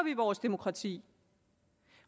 vores demokrati